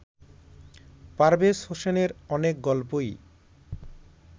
পারভেজ হোসেনের অনেক গল্পই